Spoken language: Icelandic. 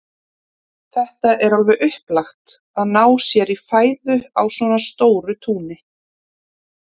Þetta er alveg upplagt, að ná sér í fæðu á svona stóru túni.